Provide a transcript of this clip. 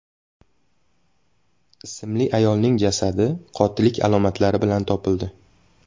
ismli ayolning jasadi qotillik alomatlari bilan topildi.